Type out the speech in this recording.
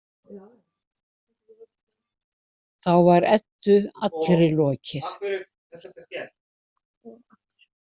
Þá var Eddu allri lokið.